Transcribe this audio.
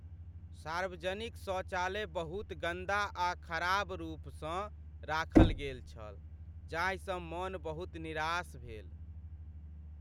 सार्वजनिक शौचालय बहुत गन्दा आ खराब रूपसँ राखल गेल छल जाहिसँ मन बहुत निरास भेल।